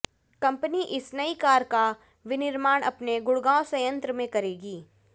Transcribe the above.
company इस नई car का विनिर्माण अपने गुडग़ांव संयंत्र में करेगी